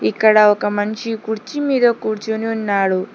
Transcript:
ఇక్కడ ఒక మనిషి కుర్చీ మీద కూర్చొని ఉన్నాడు.